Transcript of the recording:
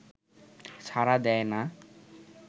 সাড়া দেয় না